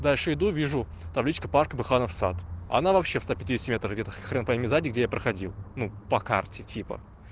дальше иду вижу табличка парк быханов сад а она вообще в ста пятидесяти метрах где-то хрен пойми сзади где я проходил ну по карте типа